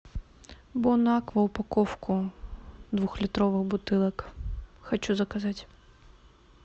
бонаква упаковку двухлитровых бутылок хочу заказать